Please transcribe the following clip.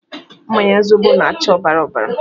Mmanya zobo na-acha ọbara ọbara